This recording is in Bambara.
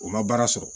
O ma baara sɔrɔ